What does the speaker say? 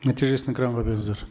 нәтижесін экранға беріңіздер